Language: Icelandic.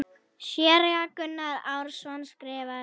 Séra Gunnar Árnason skrifar